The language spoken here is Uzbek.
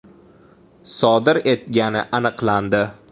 sodir etgani aniqlandi.